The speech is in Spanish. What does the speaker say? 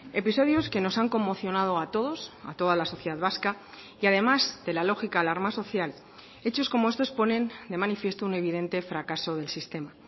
episodios que nos han conmocionado a todos a toda la sociedad vasca y además de la lógica alarma social hechos como estos ponen de manifiesto un evidente fracaso del sistema